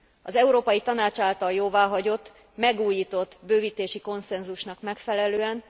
Az Európai Tanács által jóváhagyott, megújított bővítési konszenzusnak megfelelően,